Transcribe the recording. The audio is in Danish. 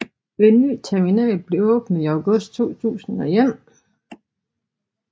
En ny terminal blev åbnet i august 2001